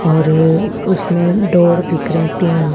और उसमे डोर दिख रहे है तीन--